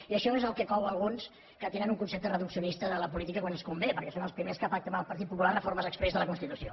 i això és el que cou a alguns que tenen un concepte reduccionista de la política quan els convé perquè són els primers que pacten amb el partit popular reformes exprés de la constitució